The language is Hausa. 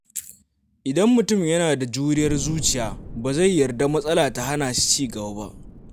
Idan mutum yana da juriyar zuciya, ba zai yarda matsala ta hana shi ci gaba ba.